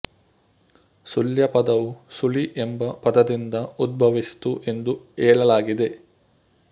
ಸುಳ್ಯ ಪದವು ಸುಳಿ ಎಂಬ ಪದದಿಂದ ಉದ್ಭವಿಸಿತು ಎಂದು ಹೇಳಲಾಗಿದೆ